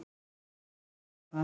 Jú, ég verð að vera það.